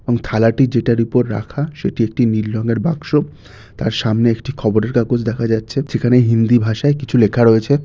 এবং থালাটি যেটার উপর রাখা সেটি একটি নীল রঙের বাক্স । তার সামনে একটি খবরের কাগজ দেখা যাচ্ছে যেখানে হিন্দি ভাষায় কিছু লেখা রয়েছে।